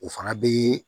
O fana bɛ